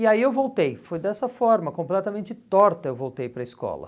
E aí eu voltei, foi dessa forma, completamente torta eu voltei para a escola.